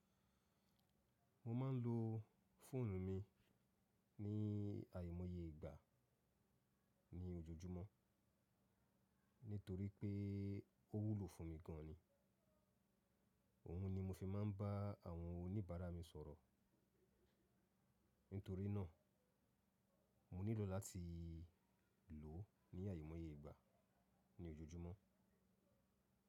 Mo ma ń lo fóònù mi ní àìmòye ìgbà ní ojújumúó nítorí pé ó wúlò fún mi gan ni. Òun ni mo fi máa ń bá àwọn oníbàárà mi sọ̀rọ̀. Nítorí náà, mo nílò láti lò ó ní àìmòyeìgbà ní ojújumúó.